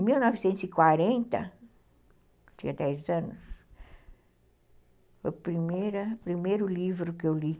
Em mil novecentos e quarenta, eu tinha dez anos, foi o primeira, primeiro livro que eu li.